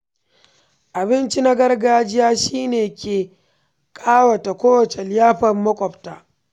Abinci na gargajiya shine ke kawata kowace liyafar maƙwabta.